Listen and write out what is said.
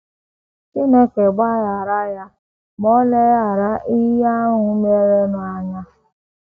Chineke gbaghaara ya, ma Ò leghaara ihe ahụ merenụ anya?